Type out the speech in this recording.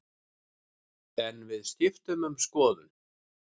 En við skiptum um skoðun.